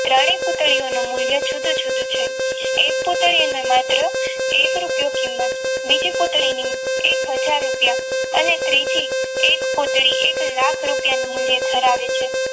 ત્રણેય પૂતળીઓનું મૂલ્ય જુદું જુદું છે એક પુત્રીને માત્ર એક રૂપિયો કિંમત બીજી પુત્રીનું હાજર રૂપિયા અને ત્રીજી એ પુત્રી એક લાખ રૂપિયાનું મૂલ્ય ધરાવે છે.